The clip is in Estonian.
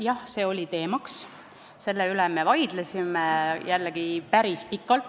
Jah, see oli teemaks, selle üle me vaidlesime jällegi päris pikalt.